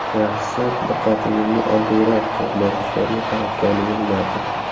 Yaxshisi diqqatingizni oddiyroq to‘g‘nog‘ichlarga qaratganingiz ma’qul.